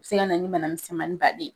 Se ga na ni bana misɛnmani baaden